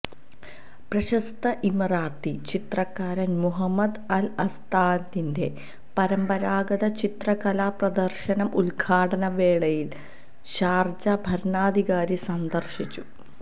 പ്രശസ്ത ഇമറാത്തി ചിത്രകാരൻ മുഹമ്മദ് അൽ അസ്താദിന്റെ പരമ്പരാഗത ചിത്രകലാപ്രദർശനം ഉദ്ഘാടനവേളയിൽ ഷാർജ ഭരണാധികാരി സന്ദർശിച്ചു